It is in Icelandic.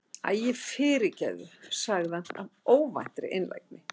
Æ, fyrirgefðu- sagði hann af óvæntri einlægni.